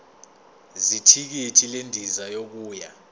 zethikithi lendiza yokuya